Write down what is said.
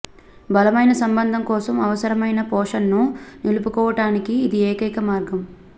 బలమైన సంబంధం కోసం అవసరమైన పాషన్ను నిలుపుకోవటానికి ఇది ఏకైక మార్గం